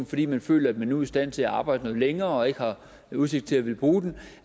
fordi man føler at man nu er i stand til at arbejde noget længere og ikke har udsigt til at ville bruge den